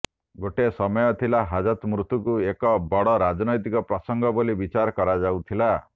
ଗୋଟେ ସମୟ ଥିଲା ହାଜତ ମୃତ୍ୟୁକୁ ଏକ ବଡ଼ ରାଜନୈତିକ ପ୍ରସଙ୍ଗ ବୋଲି ବିଚାର କରାଯାଉଥିଲା